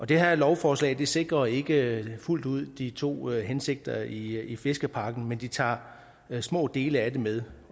det her lovforslag sikrer ikke fuldt ud de to hensigter i i fiskepakken men de tager små dele af det med